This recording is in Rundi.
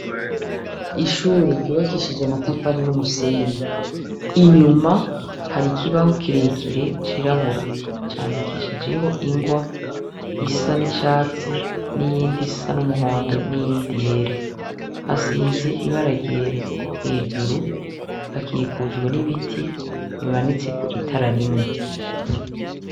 Ishure ryubakishij' amatafari n umusenyi, inyuma har' ikibaho kirekire cirabura candikishijeh' ingwa isa n'icatsi, n' iyind' isa n' umuhondo, n' iyindi yera, hasiz' ibara ryera, hejuru hakikujwe n'ibiti bimanitsek' itara rimwe.